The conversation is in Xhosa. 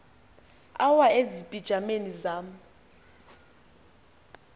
awa ezipijameni zam